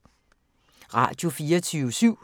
Radio24syv